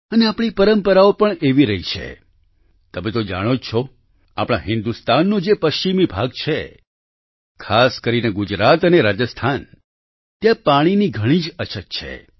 અને આપણી પરંપરાઓ પણ એવી રહી છે તમે તો જાણો જ છો આપણા હિન્દુસ્તાનનો જે પશ્ચિમી ભાગ છે ખાસ કરીને ગુજરાત અને રાજસ્થાન ત્યાં પાણીની ઘણી જ અછત છે